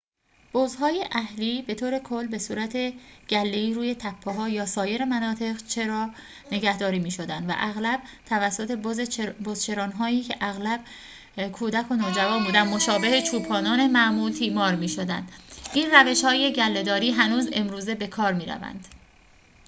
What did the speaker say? بزهای اهلی بطور کل بصورت گله‌ای روی تپه‌ها یا سایر مناطق چرا نگهداری می‌شدند و اغلب توسط بزچران‌هایی که اغلب کودک و نوجوان بودند مشابه چوپانان معمول تیمار می‌شدند این روش‌های گله‌داری هنوز امروزه بکار می‌روند